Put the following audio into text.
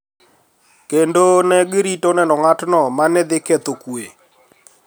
Kendo ne girito neno ng`atno ma ne dhi ketho kwe